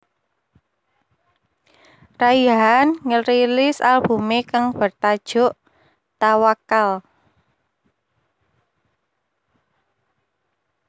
Raihan ngerilis albumé kang bertajuk Tawakkal